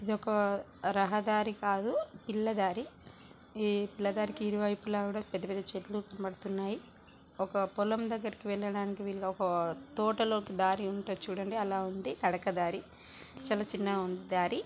ఇది ఒక రహదారి కాదు పిల్ల దారి. ఈ పిల్ల దారికి ఇరు వైపులా కూడా పెద్ద పెద్ద చెట్లు కనపడుతున్నాయి. ఒక పొలం దగ్గరికి వెళ్ళడానికి వీలుగా ఒక తోటలోకి దారి ఉంటది చూడండి. అలా ఉంది తడక దారి.